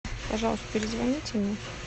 пожалуйста перезвоните мне